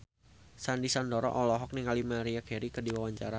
Sandy Sandoro olohok ningali Maria Carey keur diwawancara